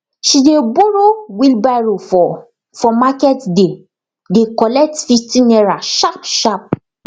she dey borrow wheelbarrow for for market day dey collect fifty naira sharp sharp